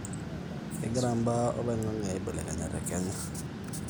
kengiraa mbaa oloingange aibelekenya te kenya